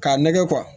K'a nɛgɛ